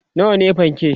nawa ne fanke?